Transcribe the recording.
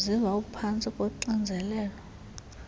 uziva uphantsi koxinzelelo